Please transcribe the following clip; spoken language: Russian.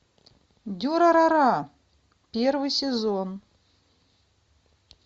дюрарара первый сезон